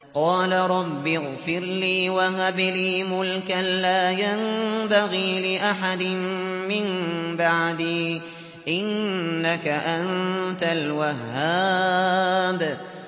قَالَ رَبِّ اغْفِرْ لِي وَهَبْ لِي مُلْكًا لَّا يَنبَغِي لِأَحَدٍ مِّن بَعْدِي ۖ إِنَّكَ أَنتَ الْوَهَّابُ